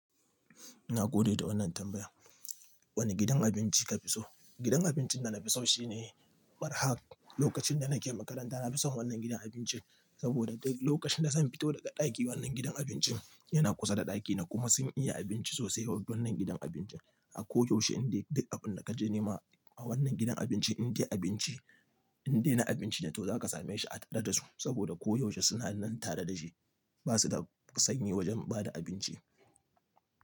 Na gode da wannan tambaya. Wane gidan abinci ka fi so? Gidan abincin da nafi so shine Barhaq. Lokacin da nake makaranta nafi son wannan gidan abincin sabida duk lokacin da zan fito daga ɗaki wannan gidan abincin yana kusa da ɗakina kuma sun iya abinci sosai yawanci wannan gidan abincin. A koda yaushe in dai duk abinda ka je nema a wannan gidan abinci in dai abinci, in dai na abinci ne to zaka same shi a tare da su saboda ko yaushe suna nan tare da shi. Ba su da sanyi wajan ba da abinci.